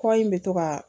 Kɔ in bɛ to ka